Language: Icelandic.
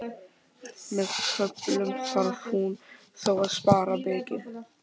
Með köflum þarf hún þó að spara mikið.